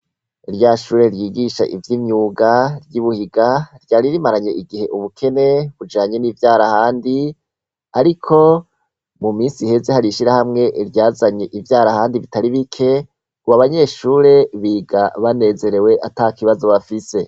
Rya shure ryigisha ivy'imyuga ryi Buhiga, ryari rimaranye igihe ubukene bujanye n'ivyarahani. Ariko mu minsi iheze, har'ishirahamwe ryazanye ivyarahani bitari bike, ubu abanyeshure biga banezerwe ata kibazo bafise.